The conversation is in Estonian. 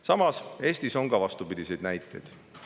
Samas, Eestis on ka vastupidiseid näiteid.